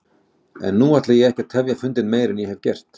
En nú ætla ég ekki að tefja fundinn meir en ég hef gert.